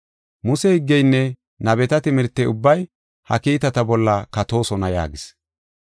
Muse higgeynne nabeta timirtey ubbay ha kiitata bolla katoosona” yaagis.